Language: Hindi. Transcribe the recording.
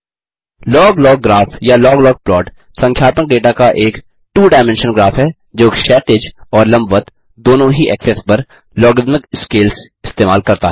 लॉग लॉग ग्राफ या लॉग लॉग प्लॉट संख्यात्मक डेटा का एक टू डायमेंश्नल ग्राफ है जो क्षैतिज और लम्बवत दोनों ही एक्सेस पर लॉगरिद्मिक स्केल्स इस्तेमाल करता है